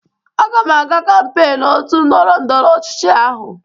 Aga m aga kampeiñ otu ndọrọ ndọrọ ọchịchị ahụ